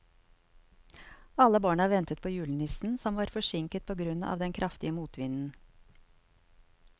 Alle barna ventet på julenissen, som var forsinket på grunn av den kraftige motvinden.